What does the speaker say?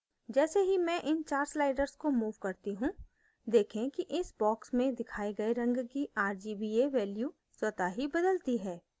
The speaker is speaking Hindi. जैसे ही मैं इन 4 sliders को move करती हूँ देखें कि इस boxes में दिखाये गए रंग की rgba values स्वतः ही बदलती है